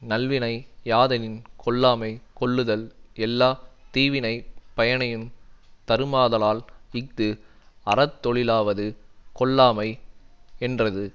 நல்வினை யாதெனின் கொல்லாமை கொல்லுதல் எல்லா தீவினைப் பயனையுந் தருமாதலால் இஃது அறத்தொழிலாவது கொல்லாமை யென்றது